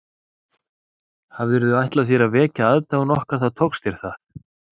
Hafirðu ætlað þér að vekja aðdáun okkar þá tókst þér það